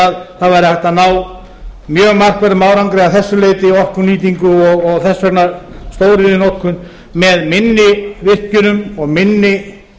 að það væri hægt að ná mjög markverðum árangri að þessu leyti í orkunýtingu og þess vegna stóriðjunotkun með minni virkjunum og minni